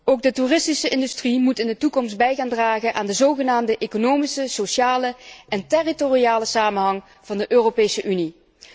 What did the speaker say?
Ook de toeristische industrie moet in de toekomst bij gaan dragen aan de zogenaamde economische, sociale en territoriale samenhang van de Europese Unie.